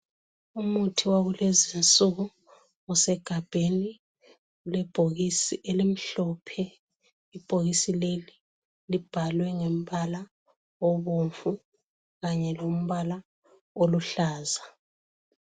Umuthi wakulezi insuku usegambeni lebhokisi elimhlophe, ibhokisi leli libhalwe ngembala obomvu kanye lombala oluhlaza.